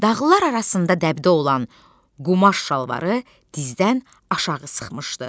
Dağlılar arasında dəbdə olan qumaş şalvarı dizdən aşağı sıxmışdı.